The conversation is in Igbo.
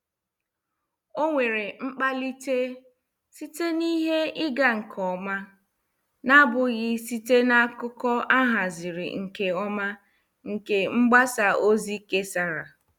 Ọ nwere mkpalite site na ihe ịga nke ọma, na abụghị site n' akụkọ ahaziri nke ọma nke mgbasa ozi kesara.